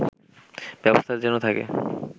ব্যবস্থা যেন থাকে